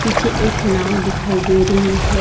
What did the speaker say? पीछे एक नाव दिखाई दे रही है।